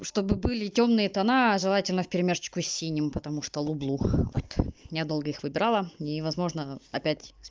чтобы были тёмные тона желательно вперемешечку с синим потому что люблю вот я долго их выиграла и не возможно опять